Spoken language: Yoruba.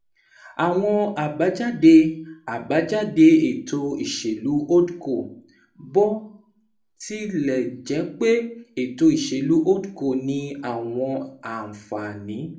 Àwọn àbájáde àbájáde ètò ìṣèlú HoldCo Bó tilẹ̀ jẹ́ pé ètò ìṣèlú HoldCo ní àwọn àǹfààní